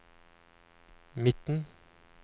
midten